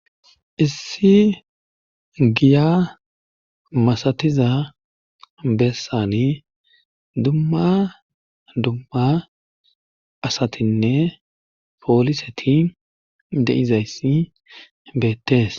Issi giya masatiza bessani dumma dumma asatinne pooliseti deizayssi beettees.